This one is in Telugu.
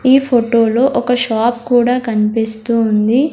ఈ ఫోటోలో ఒక షాప్ కూడా కనిపిస్తూ ఉంది.